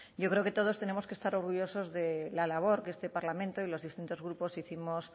yo creo que todos tenemos que estar orgullosos de la labor que este parlamento y los distintos grupos hicimos